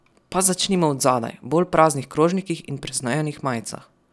Pa začnimo od zadaj, bolj praznih krožnikih in preznojenih majicah.